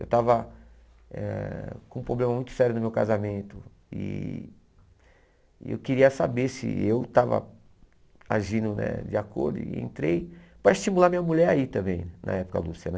Eu estava eh com um problema muito sério no meu casamento e eu queria saber se eu estava agindo né de acordo e entrei para estimular minha mulher aí também, na época, Lúcia, né?